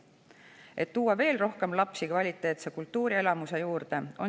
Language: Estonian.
Siin on peidus üks hea võimalus, et tuua veel rohkem lapsi kvaliteetse kultuurielamuse juurde.